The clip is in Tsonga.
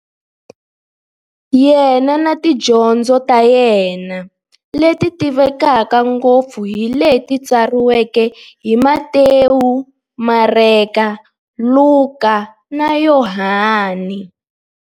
Yena na tidyondzo ta yena, leti tivekaka ngopfu hi leti tsariweke hi-Matewu, Mareka, Luka, na Yohani.